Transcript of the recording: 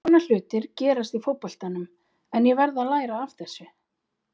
Svona hlutir gerast í fótboltanum en ég verð að læra af þessu.